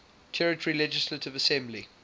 territory legislative assembly